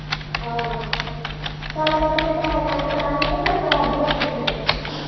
ਆਹੋ ਚੱਲ ਮੈਂ ਤੈਨੂੰ ਪੈਹੇ send ਕਰਾਂਗੀ ਤੇ ਕਰਾਦੀਂ ਆਪਣੇ ਪਿੰਡੋਂ।